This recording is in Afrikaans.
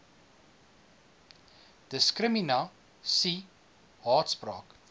diskrimina sie haatspraak